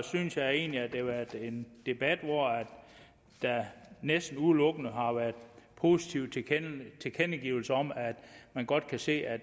synes jeg egentlig at det har været en debat hvor der næsten udelukkende har været positive tilkendegivelser om at man godt kan se at